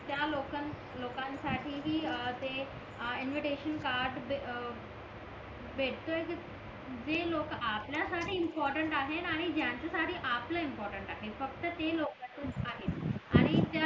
त्या लोकं लोकांसाठी हि ते इन्व्हिटेश कार्ड भेटतोय जे लोक आपल्याला साठी इम्पॉर्टन्ट आहेत आणि ज्यांच्या साठी आपला इम्पॉर्टन्ट आहे फक्त ते लोक आहेत